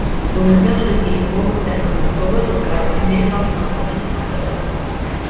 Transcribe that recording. өмірзақ шөкеев облыс әкімі жоба жоспарын америкалық компанияға тапсырдық